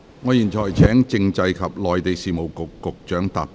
我現在請政制及內地事務局局長答辯。